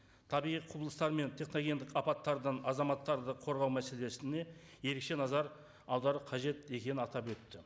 табиғи құбылыстар мен техногендік апаттардан азаматтарды қорғау мәселесіне ерекше назар аудару қажет екенін атап өтті